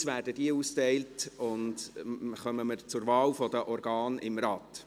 Jetzt werden diese ausgeteilt, und wir kommen zur Wahl der Organe des Rates.